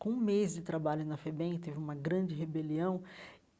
Com um mês de trabalho na FEBEM, teve uma grande rebelião.